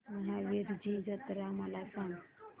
महावीरजी जत्रा मला सांग